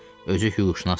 Özü hüquqşünasdır.